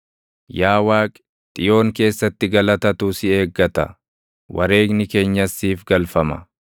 Yaa Waaqi, Xiyoon keessatti galatatu si eeggata; wareegni keenyas siif galfama.